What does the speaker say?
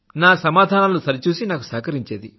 నా సమాధానాలు సరిచూసి నాకు సహకరించేది